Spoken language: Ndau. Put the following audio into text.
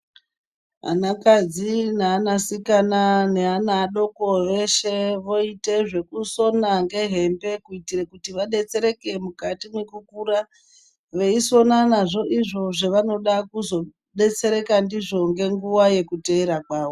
Ana kadzi neana sikana naana adoko veshe voite zvekusona ngehembe kuitire kuti vadetsereke mukati mwekukura veisona nazvo izvo zvavanoda kuzodetsereka ndizvo ngenguwa yekuteera kwawo.